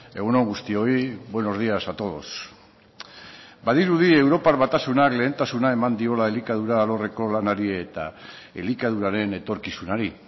egun on guztioi buenos días a todos badirudi europar batasunak lehentasuna eman diola elikadura alorreko lanari eta elikaduraren etorkizunari